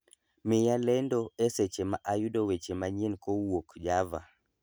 miya lendo eseche ma ayudo weche manyien kowuok java